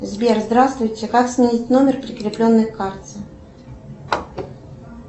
сбер здравствуйте как сменить номер прикрепленный к карте